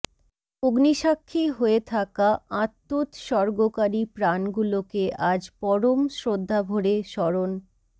অগ্নিসাক্ষী হয়ে থাকা আত্মোৎসর্গকারী প্রাণগুলোকে আজ পরম শ্রদ্ধাভরে স্মরণ